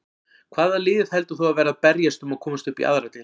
Hvaða lið heldur þú að verði að berjast um að komast upp í aðra deild?